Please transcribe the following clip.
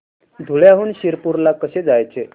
धुळ्याहून शिरपूर ला कसे जायचे